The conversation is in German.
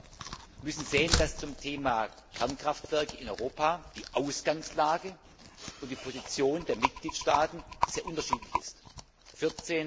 Wir müssen sehen, dass zum Thema Kernkraftwerke in Europa die Ausgangslage und die Positionen der Mitgliedstaaten sehr unterschiedlich sind.